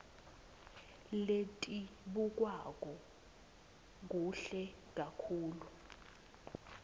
letibukwako kuhle kakhulu